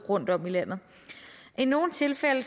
rundtom i landet i nogle tilfælde